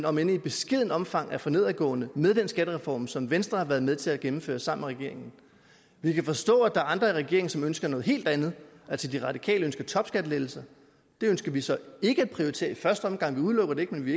om end i beskedent omfang er for nedadgående med den skattereform som venstre har været med til at gennemføre sammen med regeringen vi kan forstå at der er andre i regeringen som ønsker noget helt andet altså de radikale ønsker topskattelettelser det ønsker vi så ikke at prioritere i første omgang vi udelukker det ikke men vi